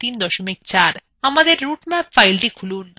আমাদের route map file খুলুন